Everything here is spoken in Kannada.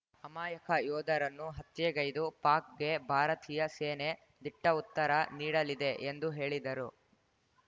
ಅಮಾಯಕ ಯೋಧರನ್ನು ಹತ್ಯೆಗೈದು ಪಾಕ್‌ಗೆ ಭಾರತೀಯ ಸೇನೆ ದಿಟ್ಟಉತ್ತರ ನೀಡಲಿದೆ ಎಂದು ಹೇಳಿದರು